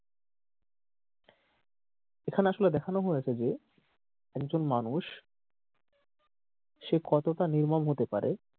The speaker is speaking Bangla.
এখানে আসলে দেখানো হয়েছে যে একজন মানুষ সে কতটা নির্মম হতে পারে।